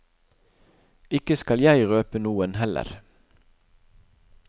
Ikke skal jeg røpe noen heller.